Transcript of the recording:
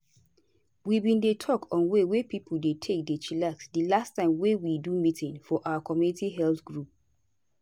we bin dey talk on way wey pipo dey take dey chillax di last time wey we do meeting for our community health group.